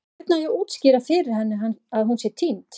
Hvernig á ég að útskýra fyrir henni að hún sé týnd?